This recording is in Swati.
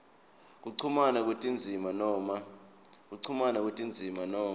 kuchumana kwetindzima noma